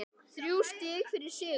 Þrjú stig fyrir sigur